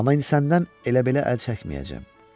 Amma indi səndən elə-belə əl çəkməyəcəm.